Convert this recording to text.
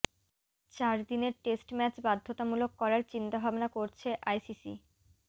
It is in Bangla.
চার দিনের টেস্ট ম্যাচ বাধ্যতামূলক করার চিন্তাভাবনা করছে আইসিসি